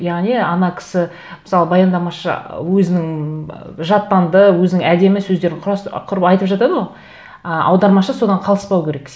яғни ана кісі мысалы баяндамашы өзінің ы жаттанды өзінің әдемі сөздерін құрып айтып жатады ғой ы аудармашы содан қалыспау керек